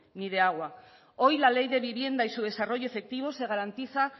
ni de agua hoy la ley de vivienda y su desarrollo efectivo se garantiza